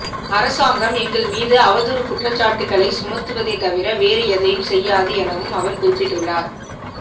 அரசாங்கம் எங்கள் மீது அவதூறு குற்றச்சாட்டுகளை சுமத்துவதை தவிர வேறு எதனையும் செய்யாது எனவும் அவர் குறிப்பிட்டுள்ளார்